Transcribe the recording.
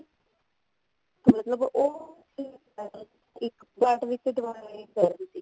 ਮਤਲਬ ਉਹ ਇੱਕ ਵਿੱਚ ਦੁਬਾਰਾ